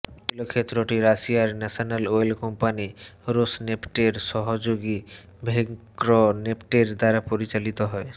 তৈল ক্ষেত্রটি রাশিয়ার ন্যাশানাল অয়েল কোম্পানি রোসনেফটের সহযোগী ভেঙ্ক্রনেফটের দ্বারা পরিচালিত হয়